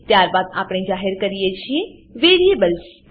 ત્યારબાદ આપણે જાહેર કરીએ છીએ વેરિએબલ્સ વેરીએબલ્સ